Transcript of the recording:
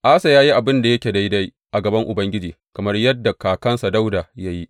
Asa ya yi abin da yake daidai a gaban Ubangiji, kamar yadda kakansa Dawuda ya yi.